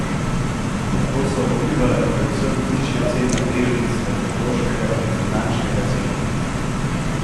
Na to so vplivale predvsem višje cene delnic tehnološkega in finančnega sektorja.